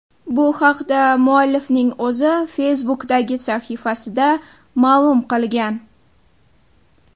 Bu haqda muallifning o‘zi Facebook’dagi sahifasida ma’lum qilgan.